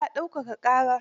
Eh, ya dauka ƙarar.